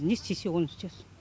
не істесе оны істесін